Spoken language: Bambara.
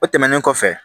O tɛmɛnen kɔfɛ